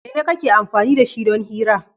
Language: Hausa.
Mene kake amfani da shi don hira?